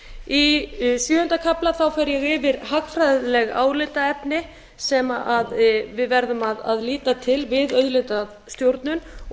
í sjöunda kafla fer ég yfir hagfræðileg álitaefni sem við verðum að líta til við auðlindastjórnun og